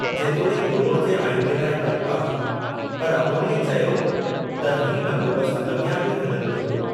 जेतोणीकि डोड़ जे आइंदे लाइ डपु आहे, पर अमौरीअ चयो त हीउ बंदोबस्तु अॻियां बि हलंदो ईंदो।